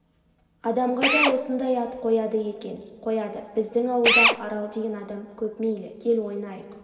адамға да осыңдай ат қояды екен қояды біздің ауылда арал деген адам көп мейлі кел ойнайық